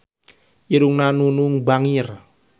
Irungna Nunung bangir